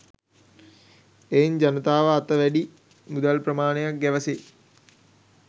එයින් ජනතාව අත වැඩි මුදල් ප්‍රමාණයක් ගැවසේ.